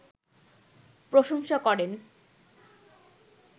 প্রশংসা করেন